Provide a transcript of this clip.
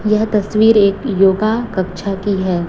यह तस्वीर एक योगा कक्षा की है।